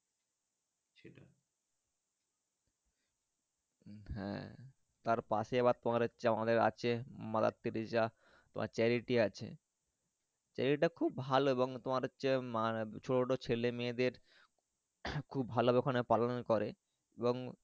হ্যাঁ তাঁর পাশে আবার তোমার হচ্ছে আমাদের আছে Mother Teresa তোমার Charity আছে জায়গাটা খুব ভালো এবং তোমার হচ্ছে আহ যে ছোট ছোট ছেলে মেয়েদের খুব ভালো ভাবে ওখানে পালন করে। এবং।